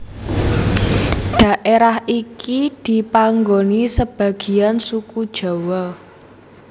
Daerah iki dipanggoni sebagiyan suku Jawa